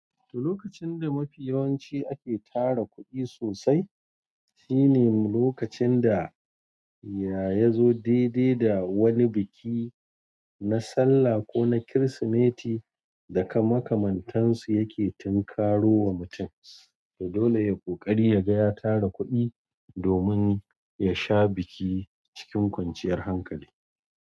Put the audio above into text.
Lokacin da mafiyawanci ake tara kuɗi sosai shi ne lokacin da yazo daidai da wani biki na sallah ko na kirsimeti da kamakamantansu yake tumkarowa mutum. To dole yayi ƙoƙari ya gaya tara kuɗi domin ya sha biki cikin kwanciyar hankali.